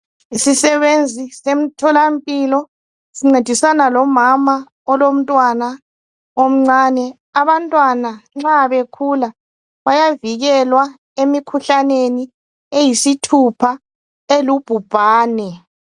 Isisebenzi semtholampilo sincedisana lomama olomntwana omncane. Abantwana nxa bekhula bayavikelwa emikhuhlaneni eyisithupha elubhubhane.